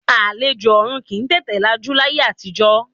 Àlejò ọ̀ọ̀run kì í tètè lajú láyé àtijọ́